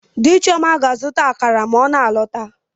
Di Chioma ga-azụta akara ma ọ na-alọta.